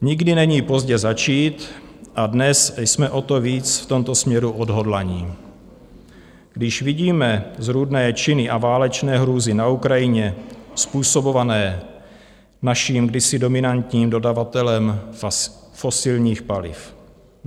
Nikdy není pozdě začít a dnes jsme o to víc v tomto směru odhodlaní, když vidíme zrůdné činy a válečné hrůzy na Ukrajině způsobované naším kdysi dominantním dodavatelem fosilních paliv.